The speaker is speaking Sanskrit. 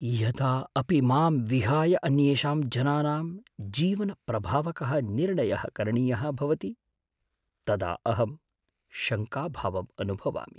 यदा अपि मां विहाय अन्येषाम् जनानां जीवनप्रभावकः निर्णयः करणीयः भवति तदा अहं शङ्काभावम् अनुभवामि।